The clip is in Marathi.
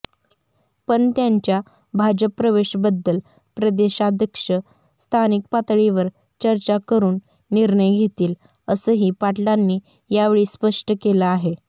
पण त्यांच्या भाजपप्रवेशबद्दल प्रदेशाध्यक्ष स्थानिकपातळीवर चर्चा करून निर्णय घेतील असंही पाटलांनी यावेळी स्पष्ट केलं आहे